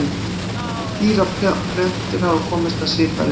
Dýr og plöntur hafa komist að svipaðri niðurstöðu.